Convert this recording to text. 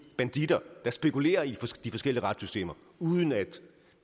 banditter der spekulerer i de forskellige retssystemer uden at